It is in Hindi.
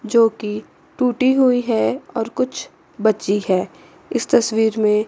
जो कि टूटी हुई है और कुछ बची है इस तस्वीर में--